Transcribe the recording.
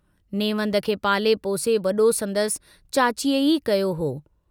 नेवंद खे पाले पोसे वडो संदसि चाचीअ ई कयो हो।